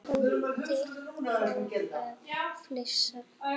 Tóti fór að flissa.